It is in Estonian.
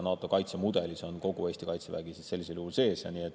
NATO kaitsemudelis on kogu Eesti kaitsevägi sellisel juhul sees.